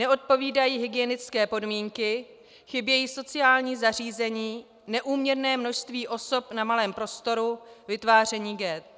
Neodpovídají hygienické podmínky, chybějí sociální zařízení, neúměrné množství osob na malém prostoru, vytváření ghett.